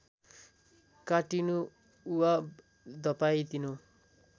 काटिनु वा धपाइनु